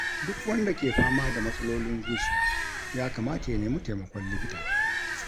Duk wanda ke fama da matsalolin zuciya ya kamata ya nemi taimakon likita.